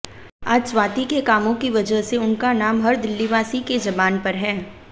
आज स्वाति के कामों की वजह से उनक नाम हर दिल्लीवासी के जबान पर है